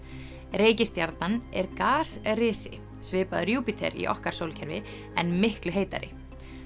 reikistjarnan er svipaður Júpíter í okkar sólkerfi en miklu heitari